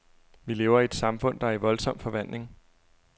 Vi lever i et samfund, der er i voldsom forvandling.